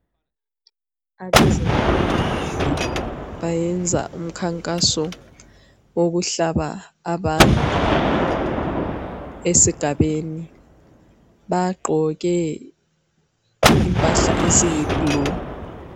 Abezempilakahle bayenza umkhankaso wokuhlaba abantu esigabeni. Bagqoke impahla eziyi blue.